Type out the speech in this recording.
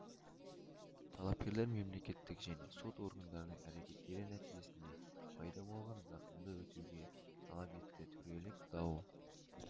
талапкерлер мемлекеттік және сот органдардың әрекеттері нәтижесінде пайда болған зақымды өтеуге талап етті төрелік дау